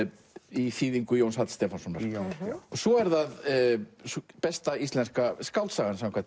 í þýðingu Jóns Halls Stefánssonar svo er það besta íslenska skáldsagan samkvæmt